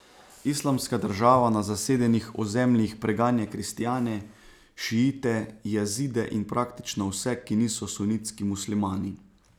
Islamska država na zasedenih ozemljih preganja kristjane, šiite, Jazide in praktično vse, ki niso sunitski muslimani.